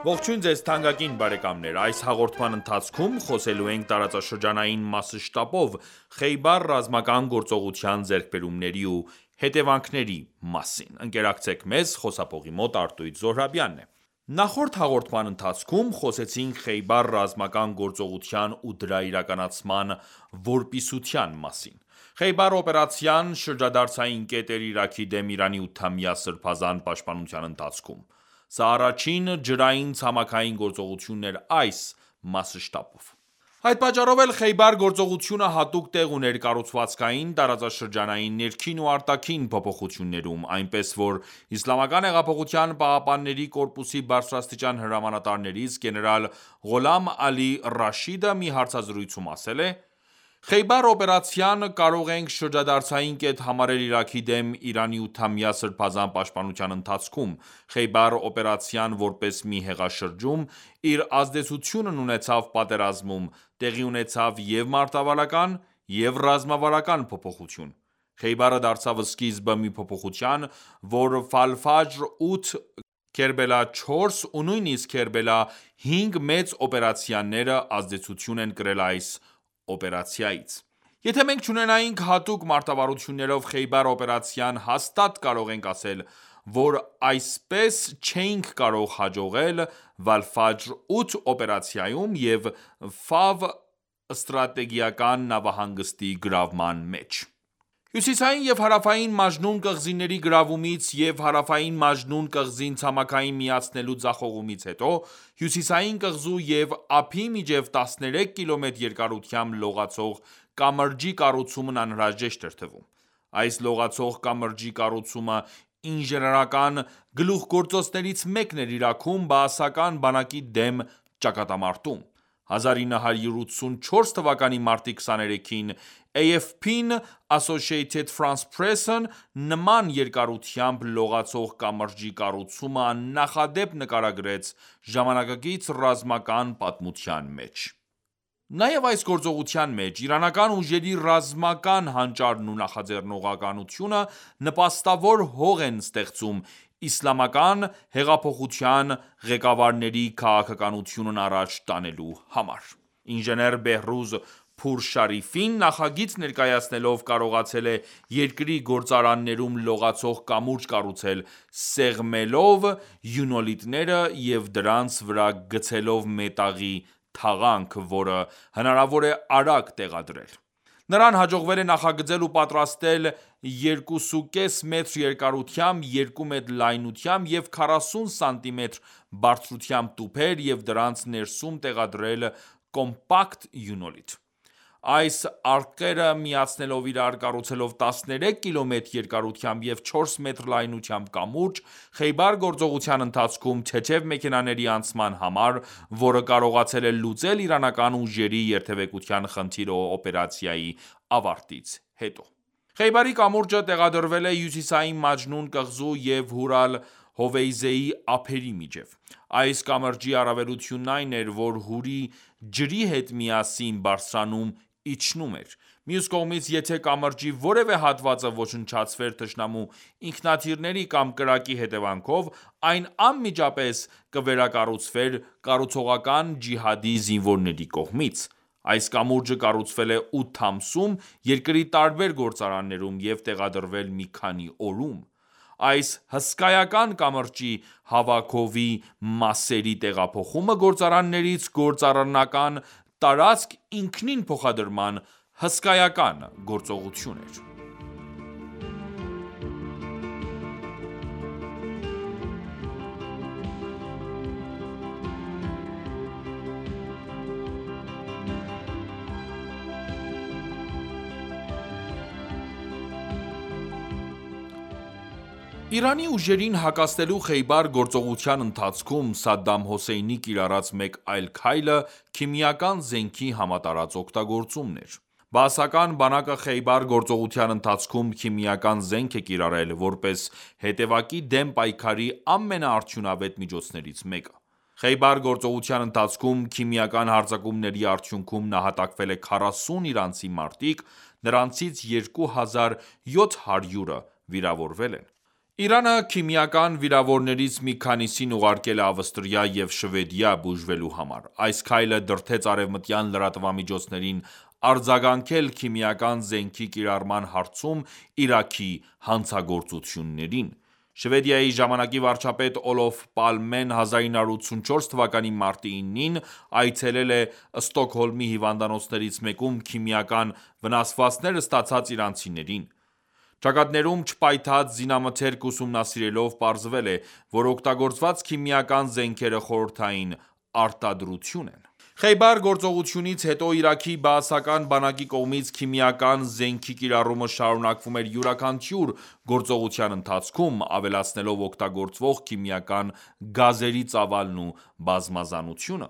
Ողջույն ձեզ թանկագին բարեկամներ: Այս հաղորդման ընթացքում խոսելու ենք տարածաշրջանային մասշտաբով Խեյբար ռազմական գործողության ձեռքբերումների ու հետևանքների մասին: Նախորդ հաղորդման ընթացքում խոսեցինք Խեյբար ռազմական գրոծողության ու դրա իրականացման որպիսության մասին: Խեյբար օպերացիան շրջադարձային կետ էր Իրաքի դեմ Իրանի 8-ամյա Սրբազան պաշտպանության ընթացքում: Սա առաջին ջրային ցամաքային գործողություն էր այս մասշտաբով: Այդ պատճառով էլ Խեյբար գործողությունը հատուկ տեղ ուներ կառուցվածքային, տարածաշրջանային, ներքին ու արտաքին փոփոխություններում, այնպես որ ԻՀՊԿ-ի բարձրաստիճան հրամանատարներից գեներալ Ղոլամ Ալի Ռաշիդը մի հարցազրույցում ասել է.«Խեյբար օպերացիան կարող ենք շրջադարձային կետ համարել Իրաքի դեմ Իրանի ութամյա Սրբազան պաշտպանության ընթացքում: Խեյբար օպերացիան որպես մի հեղաշրջում իր ազդեցությունն ունեցավ պատերազմում: Տեղի ունեցավ և՛ մարտավարական և՛ ռազմավարական փոփոխություն: Խեյբարը դարձավ սկիզբը մի փոփոխության, որ Քերբելա 4 ու նույնիսկ Քերբելա 5 մեծ օպերացիանները ազդեցություն են կրել այս օպերացիայից: Եթե մենք չունենայինք հատուկ մարտավարություններով Խեյբար օպերացիան հաստատ կարող ենք ասել, որ այսպես չէինք կարող հաջողել Վալֆաջր 8 օպերացիայում և Ֆավ ստրատեգիական նավահանգստի գրավման մեջ: Հյուսիսային և Հարավային Մաջնուն կղզիների գրավումից և Հարավային Մաջնուն կղզին ցամաքին միացնելու ձախողումից հետո Հյուսիսային կղզու և ափի միջև 13 կմ երկարությամբ լողացող կամրջի կառուցումն անհրաժեշտ էր թվում:Այս լողացող կամրջի կառուցումը ինժեներական գլուխգործոցներից մեկն էր Իրաքում Բաասական բանակի դեմ ճակատամարտում: 1984 թվականի մարտի 23-ին AFP-ն նման երկարությամբ լողացող կամրջի կառուցումը աննախադեպ նկարագրեց ժամանակակից ռազմական պատմության մեջ:Նաև այս գործողության մեջ իրանական ուժերի ռազմական հանճարն ու նախաձեռնողականությունը նպաստավոր հող են ստեղծում ԻԻՀ-ի ղեկավարների քաղաքականությունն առաջ տանելու համար։ նախագիծ ներկայացնելով, կարողացել է երկրի գործարաններում լողացող կամուրջ կառուցել՝ սեղմելով իոնոլիտները և դրանց վրա գցելով մետաղի թաղանթ, որը հնարավոր է արագ տեղադրել։ Նրան հաջողվել է նախագծել ու պատրաստել 2,5 մետր երկարությամբ, 2 մետր լայնությամբ և 40 սանտիմետր բարձրությամբ տուփեր և դրանց ներսում տեղադրել կոմպակտ իոնոլիտ։ Այս արկղերը միացնելով իրար կառուցվեց 13 կմ. երկարությամբ և 4 մետր լայնությամբ կամուրջ՝ Խեյբար գործողության ընթացքում թեթև մեքենաների անցման համար, որը կարողացել է լուծել իրանական ուժերի երթևեկության խնդիրը օպերացիայի ավարտից հետո։ Խեյբարի կամուրջը տեղադրվել է հյուսիսային Մաջնուն կղզու և Հուր Ալ-Հովեյզեի ափերի միջև: Այս կամրջի առավելությունն այն էր, որ Հուրի ջրի հետ միասին բարձրանում-իջնում ​​էր: Մյուս կողմից, եթե կամրջի որևէ հատվածը ոչնչացվեր թշնամու ինքնաթիռների կամ կրակի հետևանքով, այն անմիջապես կվերակառուցվեր «Կառուցողական ջիհադի» զինվորների կողմից:Այս կամուրջը կառուցվել է 8 ամսում երկրի տարբեր գործարաններում եւ տեղադրվել մի քանի օրում։ Այս հսկայական կամրջի հավաքովի մասերի տեղափոխումը գործարաններից գործառնական տարածք ինքնին փոխադրման հսկայական գործողություն էր: Իրանի ուժերին հակազդելու Խեյբար գործողության ընթացքում Սադամ Հուսեյնի կիրառած մեկ այլ քայլը քիմիական զենքի համատարած օգտագործումն էր: Բաասական բանակը Խեյբար գործողության ընթացքում քիմիական զենք է կիրառել՝ որպես հետեւակի դեմ պայքարի ամենաարդյունավետ միջոցներից մեկը։ Խեյբար գործողության ընթացքում քիմիական հարձակումների արդյունքում նահատակվել է 40 իրանցի մարտիկ, նրանցից 2700-ը վիրավորվել են։ Իրանը քիմիական վիրավորներից մի քանիսին ուղարկել է Ավստրիա և Շվեդիա՝ բուժվելու համար։ Այս քայլը դրդեց արևմտյան լրատվամիջոցներին արձագանքել քիմիական զենքի կիրառման հարցում Իրաքի հանցագործություններին: Շվեդիայի ժամանակի վարչապետ Պալմեն 1984 թվականի մարտի 9-ին այցելել է Ստոկհոլմի հիվանդանոցներից մեկում քիմիական վնասվածքներ ստացած իրանցիներին։ Ճակատներում չպայթած զինամթերքն ուսումնասիրելով՝ պարզվել է, որ օգտագործված քիմիական զենքերը խորհրդային արտադրություն են։ Խեյբար գործողությունից հետո Իրաքի Բաասական բանակի կողմից քիմիական զենքի կիրառումը շարունակվում էր յուրաքանչյուր գործողության ընթացքում՝ ավելացնելով օգտագործվող քիմիական գազերի ծավալն ու բազմազանությունը: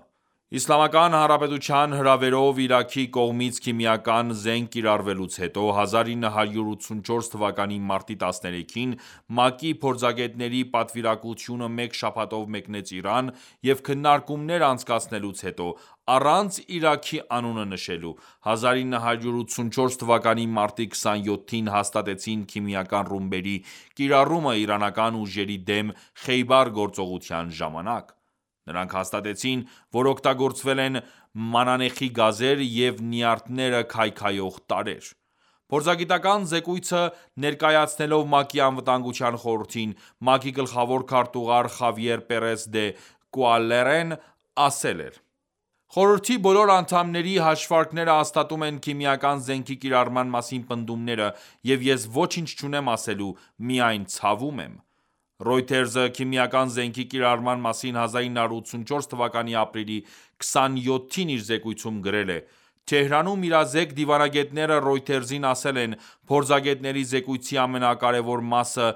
Իսլամական Հանրապետության հրավերով Իրաքի կողմից քիմիական զենք կիրառվելուց հետո, 1984 թվականի մարտի 13-ին ՄԱԿ-ի փորձագետների պատվիրակությունը մեկ շաբաթով մեկնեց Իրան և քննարկումներ անցկացնելուց հետո, առանց Իրաքի անունը նշելու, 1984թ. մարտի 27-ին հաստատեցին քիմիական ռումբերի կիրառումը իրանական ուժերի դեմ Խեյբար գործողության ժամանակ:Նրանք հաստատեցին, որ օգտագործվել են մանանեխի գազեր և նյարդերը քայքայող տարրեր: «Փորձագիտական ​​զեկույցը ներկայացնելով ՄԱԿ-ի Անվտանգության խորհրդին՝ ՄԱԿ-ի գլխավոր քարտուղար Խավիեր Պերես դե Կուելարն ասել է.«Խորհրդի բոլոր անդամների հաշվարկները հաստատում են քիմիական զենքի կիրառման մասին պնդումները, և ես ոչինչ չունեմ ասելու, միայն ցավում եմ»:Reuters-ը քիմիական զենքի կիրառման մասին1984 թվականի ապրիլի 27-ին. իր զեկույցում գրել էր.«Թեհրանում իրազեկ դիվանագետները Reuters-ին ասել են. Փորձագետների զեկույցի ամենակարևոր մասը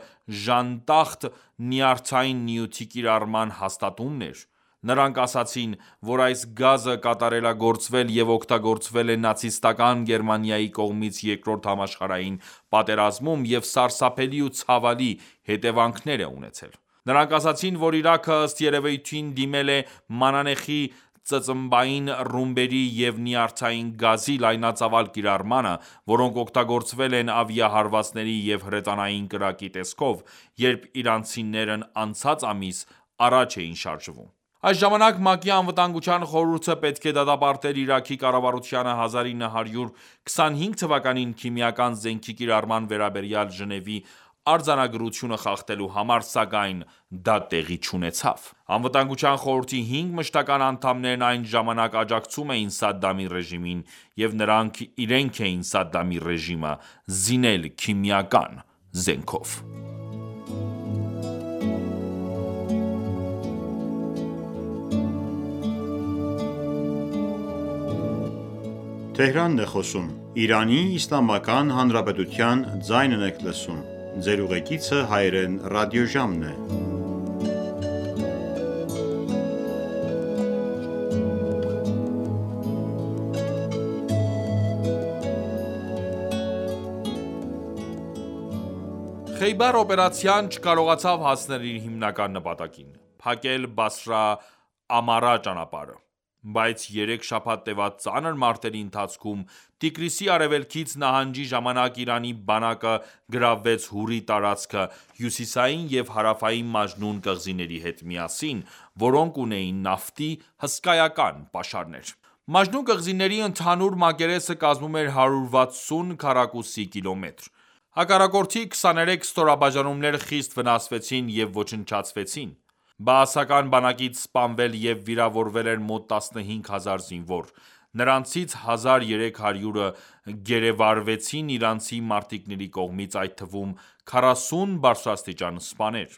«Ժանտախտ» նյարդային նյութի կիրառման հաստատումն էր: Նրանք ասացին, որ այս գազը կատարելագործվել և օգտագործվել է Նացիստական ​​Գերմանիայի կողմից Երկրորդ համաշխարհային պատերազմում և սարսափելի ու ցավալի հետևանքներ է ունեցել։ Նրանք ասացին, որ Իրաքը, ըստ երևույթին, դիմել է մանանեխի ծծմբային ռումբերի և նյարդային գազի լայնածավալ կիրառմանը, որոնք օգտագործվել են ավիահարվածների և հրետանային կրակի տեսքով, երբ իրանցիներն անցած ամիս առաջ էին շարժվում»: Այն ժամանակ ՄԱԿ-ի Անվտանգության խորհուրդը պետք է դատապարտեր Իրաքի կառավարությանը 1925 թվականին քիմիական զենքի կիրառման վերաբերյալ Ժնեւի արձանագրությունը խախտելու համար, սակայն դա տեղի չունեցավ։ Անվտանգության խորհրդի հինգ մշտական ​​անդամներն այն ժամանակ աջակցում էին Սադամի ռեժիմին, և նրանք իրենք էին Սադամի ռեժիմը զինել քիմիական զենքով: Խեյբար օպերացիան չկարողացավ հասնել իր հիմնական նպատակին՝ փակել Բասրա-Ամարա ճանապարհը։ Բայց երեք շաբաթ տեւած ծանր մարտերի ընթացքում Տիգրիսի արևելքից նահանջի ժամանակ Իրանի բանակը գրավվեց Հուրի տարածքը հյուսիսային և հարավային Մաջնուն կղզիների հետ միասին, որոնք ունեին նավթի հսկայական պաշարներ: Մաջնուն կղզիների ընդհանուր մակերեսը կազմում էր 160 քառակուսի կիլոմետր։ Հակառակորդի 23 ստորաբաժանումներ խիստ վնասվեցին և ոչնչացվեցին, Բաասական բանակից սպանվել և վիրավորել էր մոտ 15000 զինվոր, նրանցից 1300-ը գերեվարվեցին իրանցի մարտիկների կողմից, այդ թվում՝ 40 բարձրաստիճան սպաներ։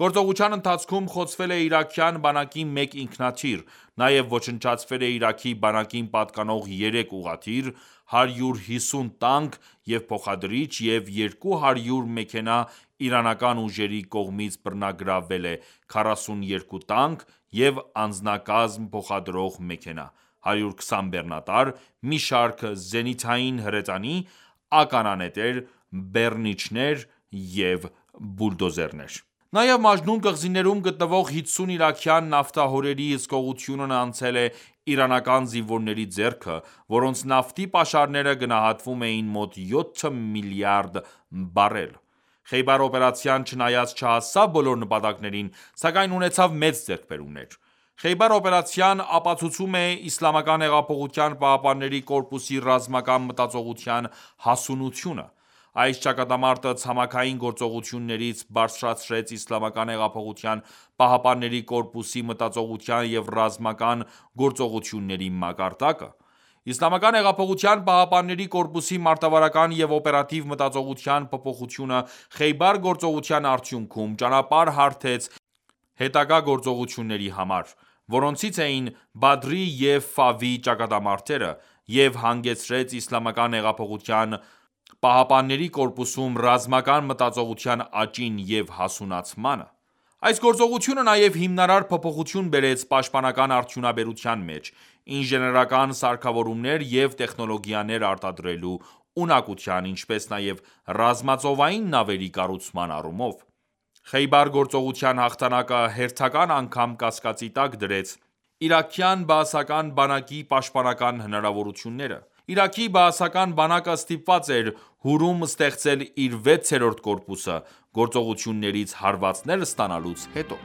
Գործողության ընթացքում խոցվել է իրաքյան բանակի մեկ ինքնաթիռ։ Նաև ոչնչացվել է Իրաքի բանակին պատկանող 3 ուղղաթիռ, 150 տանկ և փոխադրիչ և 200 մեքենա, իրանական ուժերի կողմից բռնագրավվել է 42 տանկ և անձնակազմ փոխադրող մեքենա, 120 բեռնատար, մի շարք զենիթային հրետանի, ականանետեր, բեռնիչներ և բուլդոզերներ։ Նաև Մաջնուն կղզիներում գտնվող 50 իրաքյան նավթահորերի հսկողությունն անցել է իրանական զինվորների ձեռքը, որոնց նավթի պաշարները գնահատվում էին մոտ 7 միլիարդ բարել: Խեյբար օպերացիան, չնայած չհասավ բոլոր նպատակներին, սակայն ունեցավ մեծ ձեռքբերումներ։ Խեյբար օպերացիան ապացուցում է ԻՀՊԿ-ի ռազմական մտածողության հասունությունը։ Այս ճակատամարտը ցամաքային գործողություններից բարձրացրեց ԻՀՊԿ-ի մտածողության և ռազմական գործողությունների մակարդակը։ Իսլամական հեղափոխության պահապանների կորպուսի մարտավարական և օպերատիվ մտածողության փոփոխությունը Խեյբար գործողության արդյունքում ճանապարհ հարթեց հետագա գործողությունների համար, որոնցից էին Բադրի և Ֆավի ճակատամարտերը, և հանգեցրեց ԻՀՊԿ-ում ռազմական մտածողության աճին և հասունացմանը:Այս գործողությունը նաև հիմնարար փոփոխություն բերեց պաշտպանական արդյունաբերության մեջ՝ ինժեներական սարքավորումներ և տեխնոլոգիաներ արտադրելու ունակության, ինչպես նաև ռազմածովային նավերի կառուցման առումով։ Խեյբար գործողության հաղթանակը հերթական անգամ կասկածի տակ դրեց իրաքյան բաասական բանակի պաշտպանական հնարավորությունները։ Իրաքի բաասական բանակը ստիպված էր Հուրում ստեղծել իր վեցերորդ կորպուսը՝ գործողություններից հարվածներ ստանալուց հետո: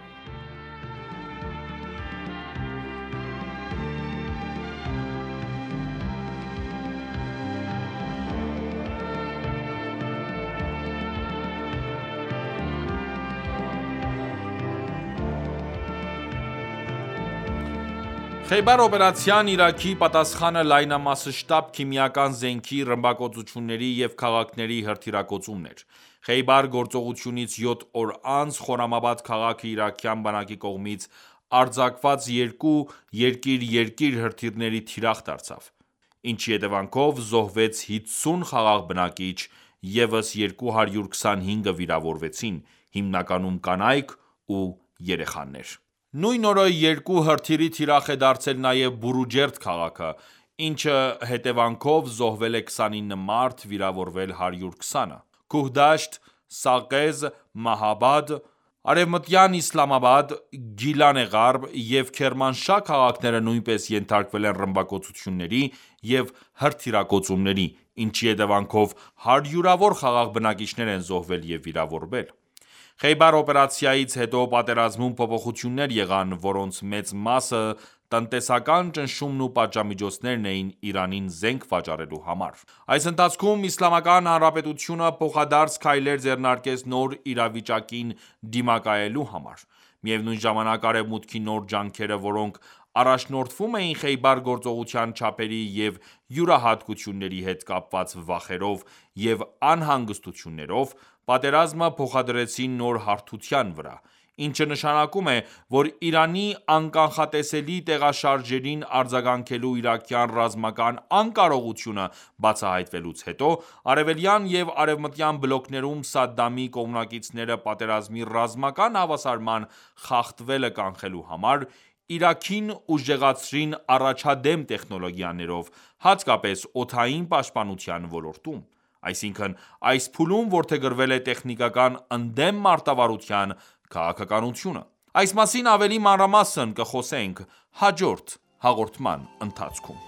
Խեյբար օպերացիային Իրաքի պատասխանը լայնամասշտաբ քիմիական զենքի, ռմբակոծությունների և քաղաքների հրթիռակոծումն էր: Խեյբար գործողությունից յոթ օր անց Խորամաբադ քաղաքը իրաքյան բանակի կողմից արձակված երկու «երկիր-երկիր» հրթիռների թիրախ դարձավ, ինչի հետևանքով զոհվեց 50 խաղաղ բնակիչ, ևս 225-ը վիրավորվեցին՝ հիմնականում կանայք և երեխաներ: Նույն օրը երկու հրթիռի թիրախ է դարձել նաև Բորուջերդ քաղաքը, ինչի հետևանքով զոհվել է 29 մարդ, վիրավորվել՝ 120-ը։ Քուհդաշտ, Սաղեզ, Մահաբադ, Արեմտյան Իսլամաբադ, Գիլան Ղարբ և Քերմանշահ քաղաքները նույնպես ենթարկվել են ռմբակոծությունների և հրթիռակոծումների, ինչի հետևանքով հարյուրավոր խաղաղ բնակիչներ են զոհվել և վիրավորվել:Խեյբար օպերացիայից հետո պատերազմում փոփոխություններ եղան, որոնց մեծ մասը տնտեսական ճնշումն ու պատժամիջոցներն էին Իրանին զենք վաճառելու համար։ Այս ընթացքում Իսլամական Հանրապետությունը փոխադարձ քայլեր ձեռնարկեց նոր իրավիճակին դիմակայելու համար։ Միևնույն ժամանակ, Արևմուտքի նոր ջանքերը, որոնք առաջնորդվում էին Խեյբար գործողության չափերի և յուրահատկությունների հետ կապված վախերով և անհանգստություններով, պատերազմը փոխադրեցին նոր հարթության վրա, ինչը նշանակում է, որ Իրանի անկանխատեսելի տեղաշարժերին արձագանքելու իրաքյան ռազմական անկարողությունը բացահայտվելուց հետո, արևելյան և արևմտյան բլոկներում Սադամի կողմնակիցները պատերազմի ռազմական հավասարման խախտվելը կանխելու համար, Իրաքին ուժեղացրին առաջադեմ տեխնոլոգիաներով, հատկապես օդային պաշտպանության ոլորտում։ Այսինքն՝ այս փուլում որդեգրվել է տեխնիկան ընդդեմ մարտավարության քաղաքականությունը։ Այս մասին ավելի մանրամասն կխոսենք հաջորդ հաղորդման ընթացքում։